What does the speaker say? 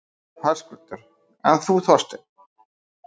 Höskuldur: En þú, Þorsteinn?